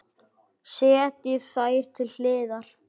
Setjið þær til hliðar.